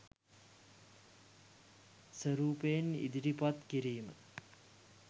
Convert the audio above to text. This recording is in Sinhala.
ස්වරූපයෙන් ඉදිරිපත් කිරීම